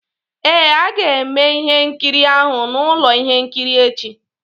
Ee, a ga-eme ihe nkiri ahụ na ụlọ ihe nkiri echi